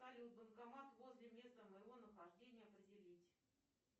салют банкомат возле места моего нахождения определить